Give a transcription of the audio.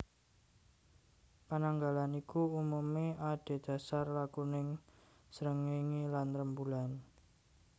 Pananggalan iku umumé adhedasar lakuning srengéngé lan rembulan